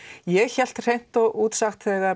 ég hélt hreint út sagt